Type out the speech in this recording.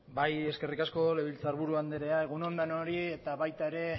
bai eskerrik asko legebiltzarburu andrea egun on danori eta baita ere